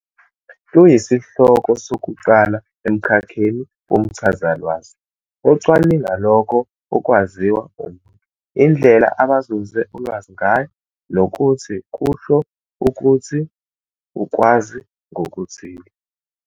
Luyisihloko sokuqala emkhakheni womchazalwazi, ocwaninga lokho okwaziwa umuntu, indlela abazuze ulwazi ngayo, nokuthi kusho ukuthi ukwazi ngokuthile.